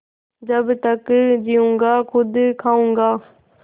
जब तक जीऊँगा खुद खाऊँगा